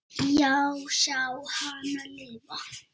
Já, sjá hana lifa.